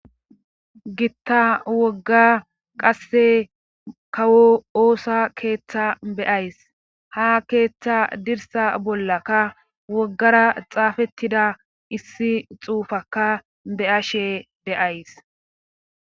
gitta wogga qasse kawo oosa keeththa beyays ha keeththa dirsa bollaka woggara xaafettida issi xuufaka beyashe de'ays